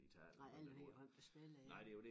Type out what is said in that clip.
Nej alle de hold der spillede ja